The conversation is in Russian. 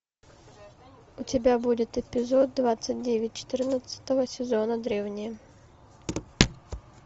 у тебя будет эпизод двадцать девять четырнадцатого сезона древние